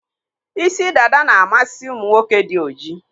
Isi dada na-amasị ụmụ nwoke dị ojii.